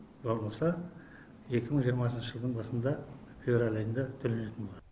болмаса екі мың жиырмасыншы жылдың басында февраль айында төленетін болады